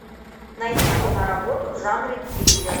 найди киноработу в жанре триллер